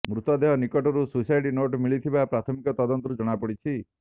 ମୃତଦେହ ନିକଟରୁ suicide note ମିଳିଥିବା ପ୍ରାଥମିକ ତଦନ୍ତରୁ ଜଣାପଡିଛି